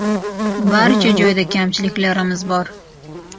Barcha joyda kamchiliklarimiz bor.